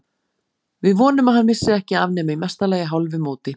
Við vonum að hann missi ekki af nema í mesta lagi hálfu móti.